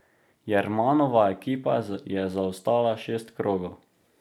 Jermanova ekipa je zaostala šest krogov.